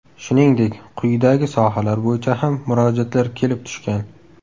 Shuningdek, quyidagi sohalar bo‘yicha ham murojaatlar kelib tushgan.